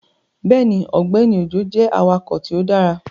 Bẹẹni, Ọgbẹni Ojo jẹ awakọ ti o dara